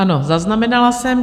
Ano, zaznamenala jsem.